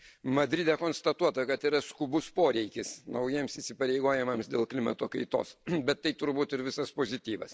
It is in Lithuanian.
Madride konstatuota, kad yra skubus poreikis naujiems įsipareigojimams dėl klimato kaitos. Bet tai turbūt ir visas pozityvas.